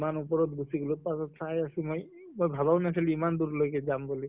ইমান ওপৰত গুছি গʼলো তাৰ পিছত চাই আছো মই, মই ভবাও নাছিলো ইমান দূৰ লৈকে বুলি